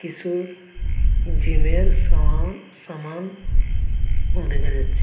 কিসু জিমের -এর সামা- সামান দেখা যাচ্ছে।